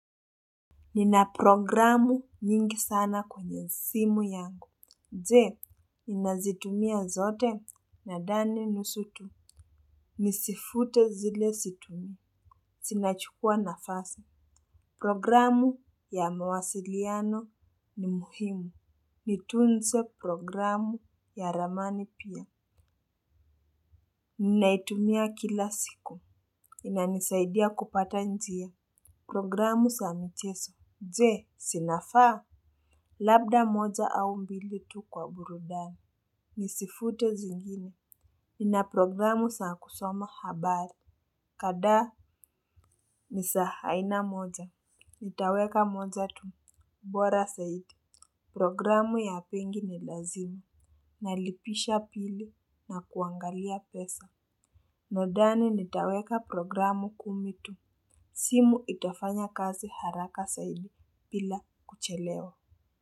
Nina programu nyingi sana kwenye simu yangu. Je, ninazitumia zote? Nadhani nusu tu. Nizifute zile situmii. Zinachukua nafasi. Programu ya mawasiliano ni muhimu. Nitunze programu ya ramani pia. Ninaitumia kila siku. Inanisaidia kupata njia. Programu za michezo. Je, zinafaa? Labda moja au mbili tu kwa burudani. Nizifute zingine. Nina programu za kusoma habari. Kadhaa ni za aina moja. Nitaweka moja tu bora zaidi. Programu ya benki ni lazima. Nalipisha pili na kuangalia pesa. Nadhani nitaweka programu kumi tu. Simu itafanya kazi haraka zaidi bila kuchelewa.